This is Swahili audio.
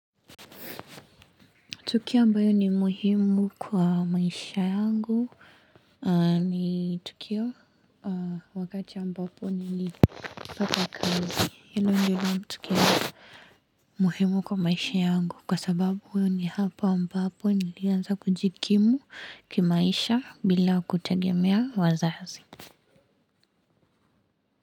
Tukio ambayo ni muhimu kwa maisha yangu ni tukio wakati ambapo nili pata kazi. Hilo ndiyo tukio muhimu kwa maisha yangu kwa sababu ni hapa ambapo nilianza kujikimu kimaisha bila kutegemea wazazi.